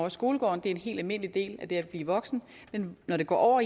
i skolegården det er en helt almindelig del af det at blive voksen men når det går